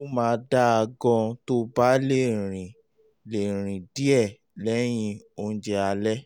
ó máa dáa gan-an tó o bá lè rìn lè rìn díẹ̀ lẹ́yìn oúnjẹ alẹ́